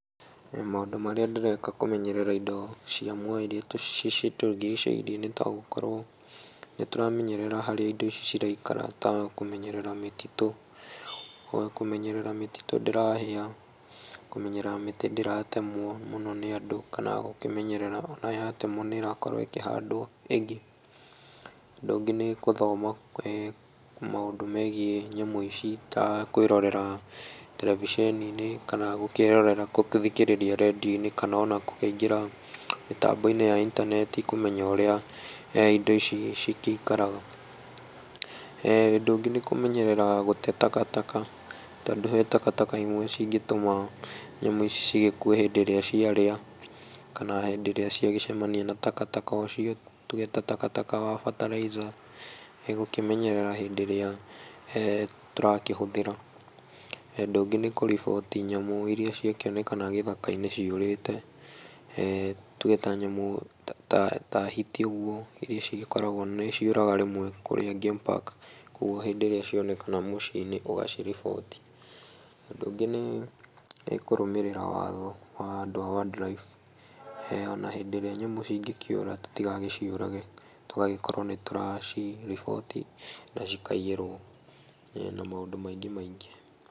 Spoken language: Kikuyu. Maũndũ maria ndĩreka kũmenyerera indo cĩa mũoyo irĩa cĩtũrĩgĩcĩirie nĩtagũkorwo nĩtũramenyerera harĩa indo icio ciraikara ta kũmenyerera mĩtitũ, kũmenyerea mĩtĩtũ ndĩrahĩa, kũmenyerera mĩtĩ ndĩratemwo mũno nĩ andũ kana gũkĩmenyerera ona yatemwo nĩrakworwo ĩkihandwo ĩngĩ. Ũndũ ũngĩ ĩnĩ gũthoma maũndũ megie nyamũ ici ta kwĩrorera televisheni -inĩ kana gũgĩthikĩrĩria rendiũ-inĩ kana ona gũkĩingira mĩtambo-inĩ ya intaneti kũmenya ũrĩa indo ici cigĩikaraga . ũndũ ũngĩ nĩ kũmenyerera gũte takataka, tondũ he takataka ĩmwe cĩngĩtũma nyamũ ici cigĩkue hindĩ ĩrĩa ciarĩa, kana hĩndĩ ĩrĩa ciagicemania na takataka ũcio, tũge ta takataka wa fertilizer, nĩgũkĩmenyerera hĩndĩ ĩrĩa tũrakĩhũthĩra. Ũndũ ũngĩ nĩ kũrĩboti nyamũ ĩrĩa ciakĩonekana gĩthaka-inĩ cĩũrĩte, tũge ta nyamũ ta hiti ũguo irĩa cigĩkoragwo nĩ cioraga rĩmwe kũrĩa gamepark kwa ũguo rĩrĩa cionekana mũcĩ-inĩ ũgaciriboti. Ũndũ ũngĩ nĩ kũrũmĩrira watho wa andũ a wild life ona hĩndĩ ĩrĩa nyamũ cĩngĩkĩura tũtigagĩciũrage tũgagĩkorwo nĩtũraciriboti cikaĩyĩrwo na maũndũ maingĩ maingĩ.